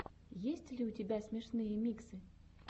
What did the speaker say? есть ли у тебя смешные миксы